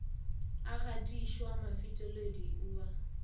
a gatišwa mofetoledi o ba